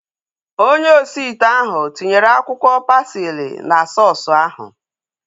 Onye osi ite ahu tinyere akwụkwọ pasili na sọọsu ahu